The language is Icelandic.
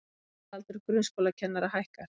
Meðalaldur grunnskólakennara hækkar